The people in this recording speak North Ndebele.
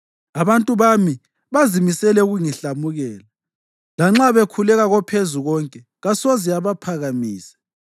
Abantu bami bazimisele ukungihlamukela. Lanxa bekhuleka koPhezukonke kasoze abaphakamise.